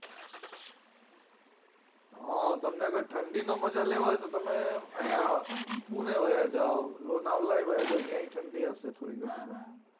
હમ તમને જો ઠંડી ની મજા લેવા હોય તો તમે આયા અમ પુણે વયા જાવ lonawala ય વયા જાવ ન્યાય ઠંડી ઓ છે થોડીઘણી તો